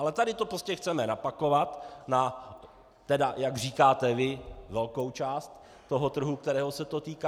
Ale tady to prostě chceme napakovat na, tedy jak říkáte vy, velkou část toho trhu, kterého se to týká.